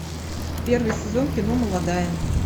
первый сезон кино молодая